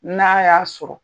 N'a y'a sɔrɔ